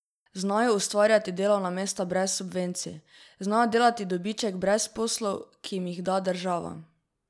Znajo ustvarjati delovna mesta brez subvencij, znajo delati dobiček brez poslov, ki jim jih da država?